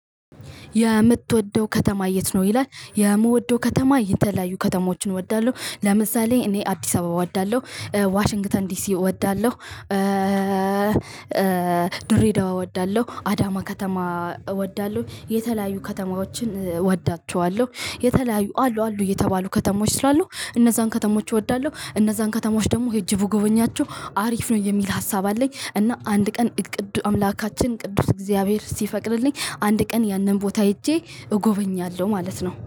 የምትወደው ከተማ የት? ነው ይላል የምወደው ከተማ የተለያዩ ከተማዎችን እወዳለሁ ለምሳሌ እኔ አዲስ አበባ እወዳለሁ ዋሽንግተን ዲሲ እወዳለሁ። ድሬዳዋ እወዳለሁ አዳማ ከተማ እወዳለሁ የተለያዩ ከተማዎችን እወዳቸዋለሁ። የተለያዩ አሉ አሉ እየተባሉ ከተሞች ስሏሉ እነዛን ከተሞች እወዳለሁ እነዛን ከተሞች ደግሞ ሄጄ ብጎበኛቸው አሪፍ ነው የሚል ሀሳብ አለኝ። እና አንድ ቀን ቅዱስ አምላካችን ቅዱስ እግዚአብሔር ሲፈቅድልኝ አንድ ቀን ያንን ቦታ ሄጄ እጎበኛለሁ ማለት ነው